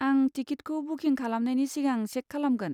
आं टिकिटखौ बुकिं खालामनायनि सिगां चेक खालामगोन।